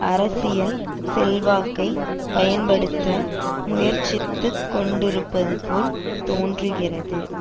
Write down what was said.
அரசியல் செல்வாக்கை பயன்படுத்த முயற்சித்துக் கொண்டிருப்பதுபோல் தோன்றுகிறது